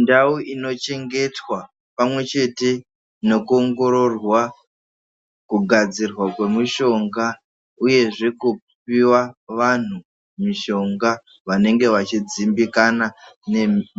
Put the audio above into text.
Ndau inochengetwa pamwe chete nekuongororwa kugadzirwa kwemishonga uyezve kupuwa vantu mishonga vanenge vachidzimbikana